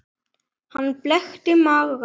Hann blekkti marga.